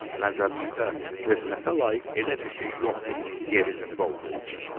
Məzəmmətə, töhmətə layiq elə bir şey yoxdur, yer üzündə olduğu kimi.